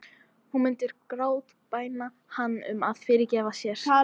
Hún myndi grátbæna hann um að fyrirgefa sér.